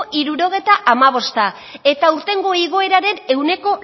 hirurogeita hamabosta eta aurtengo igoeraren ehuneko